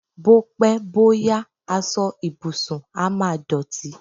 Bó pẹ́, bó yá, aṣọ ìbùsùn á máa dọ̀tí.